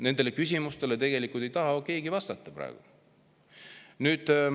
Nendele küsimustele ei taha keegi praegu vastata.